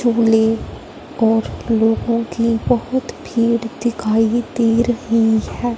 और लोगों की बहोत भीड़ दिखाई दे रही है।